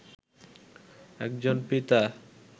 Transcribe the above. একজন পিতা